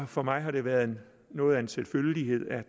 for mig har det været noget af en selvfølgelighed at